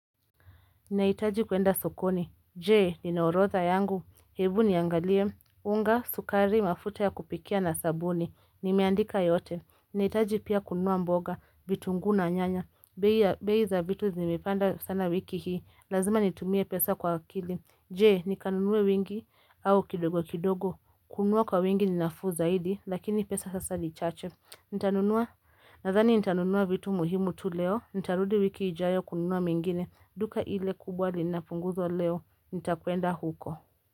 Naitaji kuenda sokoni, jee, nina orodha yangu, hebu niangalie, unga, sukari, mafuta ya kupikia na sabuni, nimeandika yote, naitaji pia kunua mboga, vitungu na nyanya, bei za vitu zimepanda sana wiki hii, lazima nitumie pesa kwa akili, jee, nikanunuwe wingi, au kidogo kidogo, kununua kwa wingi ni nafuu zaidi, lakini pesa sasa ni chache, nitanunua, nadhani nitanunua vitu muhimu tu leo, nitarudi wiki ijayo kununua mingine, duka ile kubwa linapunguzwa leo nitakuenda huko.